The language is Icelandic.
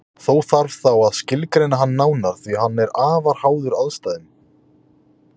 Þó þarf þá að skilgreina hann nánar því að hann er afar háður aðstæðum.